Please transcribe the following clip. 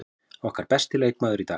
Okkar besti leikmaður í dag.